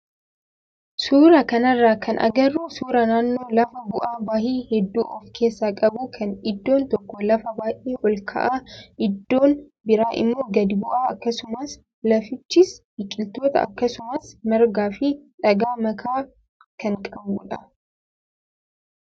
Suuraa kanarraa kan agarru suuraa naannoo lafa bu'aa bahii hedduu of keessaa qabuu kan iddoon tokko lafa baay'ee ol ka'aa iddoon biraa immoo gadi bu'aa akkasuma lafichis biqiloota akkasumas margaa fi dhagaa makaa kan qabudha.